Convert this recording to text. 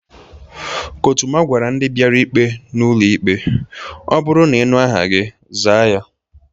Kọtụma gwara ndị biara ikpe n'ụlọ ikpe "o bụru n'inu aha gi, zaa ya"